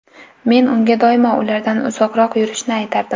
Men unga doimo ulardan uzoqroq yurishni aytardim.